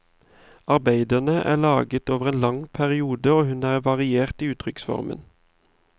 Arbeidene er laget over en lang periode, og hun er variert i uttrykksformen.